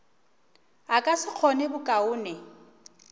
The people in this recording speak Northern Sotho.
a ka se kgone bokaone